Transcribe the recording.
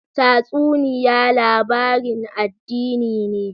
Tatsuniya labarin addini ne?